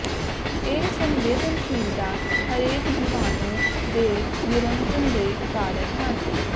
ਇਹ ਸੰਵੇਦਨਸ਼ੀਲਤਾ ਹਰੇਕ ਜੀਵਾਣੂ ਦੇ ਨਿਅੰਤਰਣ ਦੇ ਕਾਰਨ ਹੈ